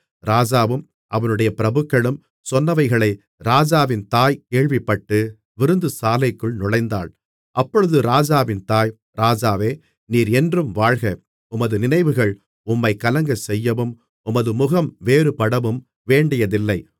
ராஜாவும் அவனுடைய பிரபுக்களும் சொன்னவைகளை ராஜாவின் தாய் கேள்விப்பட்டு விருந்துசாலைக்குள் நுழைந்தாள் அப்பொழுது ராஜாவின் தாய் ராஜாவே நீர் என்றும் வாழ்க உமது நினைவுகள் உம்மைக் கலங்கச்செய்யவும் உமது முகம் வேறுபடவும் வேண்டியதில்லை